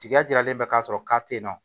Tiga jalen bɛ k'a sɔrɔ k'a te yen nɔ